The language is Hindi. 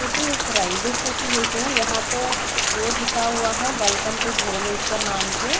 किन्तु ये स्टेशन जैसे है यहां तो बोर्ड लिखा हुआ है वेलकम टू भुवनेश्रर नाम के--